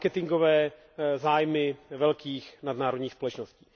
pro marketingové zájmy velkých nadnárodních společností.